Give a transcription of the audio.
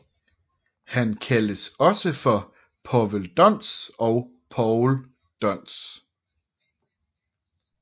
Han kaldes også for Povel Dons og Paul Dons